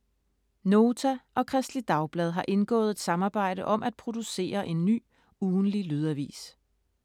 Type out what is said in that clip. Nota og Kristeligt Dagblad har indgået et samarbejde om at producere en ny ugentlig lydavis.